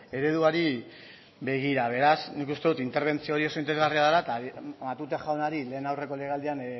ereduari begira beraz nik uste dut interbentzio horiek oso interesgarria da eta matute jaunari lehen aurreko legealdian